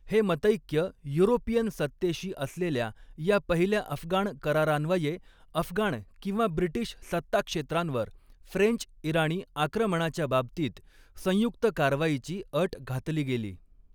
हे मतैक्य युरोपियन सत्तेशी असलेल्या या पहिल्या अफगाण करारान्वये, अफगाण किंवा ब्रिटीश सत्ताक्षेत्रांवर फ्रेंच इराणी आक्रमणाच्या बाबतीत संयुक्त कारवाईची अट घातली गेली.